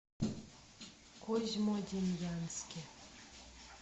козьмодемьянске